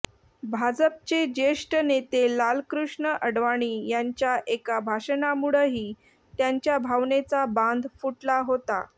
भाजपचे ज्येष्ठ नेते लालकृष्ण आडवाणी यांच्या एका भाषणामुळंही त्यांच्या भावनेचा बांध फुटला होता